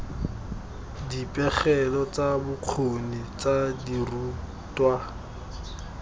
dipegelo tsa bokgoni tsa dirutwa